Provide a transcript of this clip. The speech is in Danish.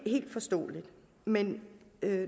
helt forståeligt men